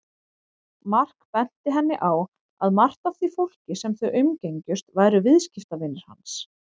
Mark benti henni á að margt af því fólki sem þau umgengjust væru viðskiptavinir hans.